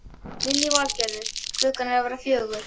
Lillý Valgerður: Klukkan að verða fjögur?